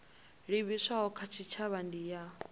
livhiswaho kha tshitshavha ndi ya